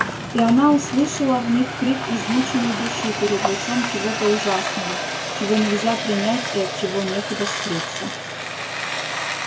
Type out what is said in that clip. и она услышала в них крик измученной души перед лицом чего-то ужасного чего нельзя принять и от чего некуда скрыться